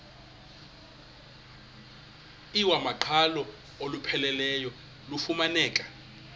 iwamaqhalo olupheleleyo lufumaneka